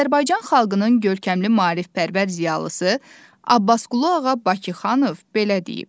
Azərbaycan xalqının görkəmli maarifpərvər ziyalısı Abbasqulu Ağa Bakıxanov belə deyib: